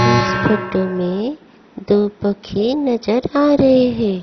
इस फोटो में दो पंखे नजर आ रहे है।